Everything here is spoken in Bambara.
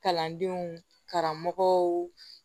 Kalandenw karamɔgɔw